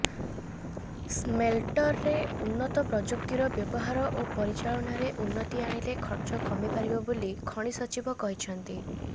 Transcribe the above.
ସ୍ମେଲଟର୍ରେ ଉନ୍ନତ ପ୍ରଯୁକ୍ତିର ବ୍ୟବହାର ଓ ପରିଚାଳନାରେ ଉନ୍ନତି ଆଣିଲେ ଖର୍ଚ କମିପାରିବ ବୋଲି ଖଣି ସଚିବ କହିଛନ୍ତି